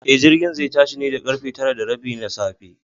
E, jirgin zai tashi ne da ƙarfe tara da rabi na safe.